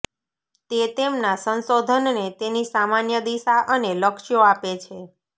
તે તેમના સંશોધનને તેની સામાન્ય દિશા અને લક્ષ્યો આપે છે